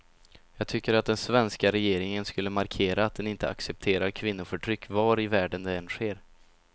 Jag tycker att den svenska regeringen skulle markera att den inte accepterar kvinnoförtryck var i världen det än sker.